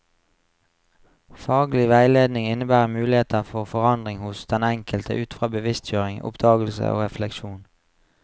Faglig veiledning innebærer muligheter for forandring hos den enkelte ut fra bevisstgjøring, oppdagelse og refleksjon.